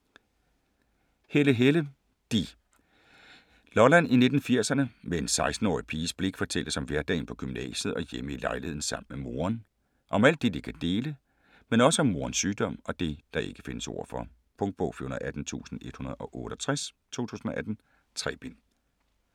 Helle, Helle: de Lolland i 1980'erne, med en 16-årig piges blik fortælles om hverdagen på gymnasiet og hjemme i lejligheden sammen med moren. Om alt det de kan dele, men også om morens sygdom og det, der ikke findes ord for. Punktbog 418168 2018. 3 bind.